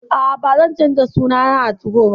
A'a, ba zan canza suna na a 2go ba